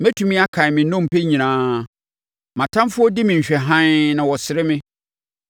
Mɛtumi akan me nnompe nyinaa; Mʼatamfoɔ di me nhwɛhaa na wɔsere me.